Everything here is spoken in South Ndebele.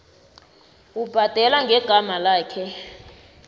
ubhadela ngegama lakhe